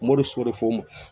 Moriso de fɔ